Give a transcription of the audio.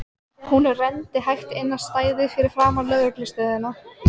Hún renndi hægt inn á stæðið fyrir framan lögreglu stöðina.